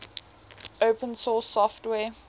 open source software